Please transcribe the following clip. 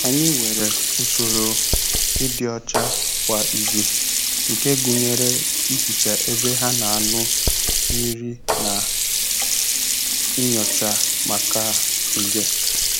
Anyị nwere usoro ịdị ọcha kwa izu nke gụnyere ihicha ebe ha na-aṅụ mmiri na nyocha maka nje.